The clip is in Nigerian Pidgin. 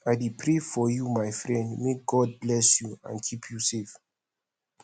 i dey pray for you my friend may god bless you and keep you safe